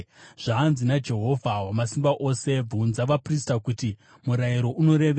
“Zvanzi naJehovha Wamasimba Ose: ‘Bvunza vaprista kuti murayiro unorevei: